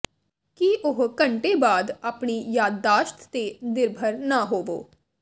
ਕੀ ਉਹ ਘੰਟੇ ਬਾਅਦ ਆਪਣੀ ਯਾਦਾਸ਼ਤ ਤੇ ਨਿਰਭਰ ਨਾ ਹੋਵੋ